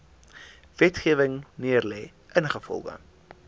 wetgewing neergelê ingevolge